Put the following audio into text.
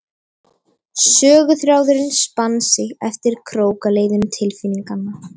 Söguþráðurinn spann sig eftir krókaleiðum tilfinninganna.